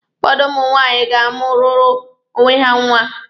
Ụfọdụ ụmụ nwaanyị ga-amụụrụ onwe ha nwa.